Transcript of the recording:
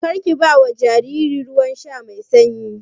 Karki bawa jariri ruwan sha mai sanyi.